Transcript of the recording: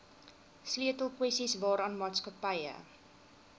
sleutelkwessies waaraan maatskappye